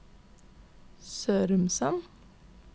Sørumsand